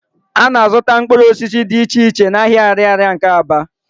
A na-azụta mkpụrụ osisi di iche iche n'ahịa Ạrịarịa nke Aba.